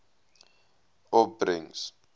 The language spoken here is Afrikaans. opbrengs